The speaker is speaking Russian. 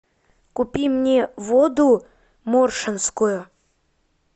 купи мне воду моршинскую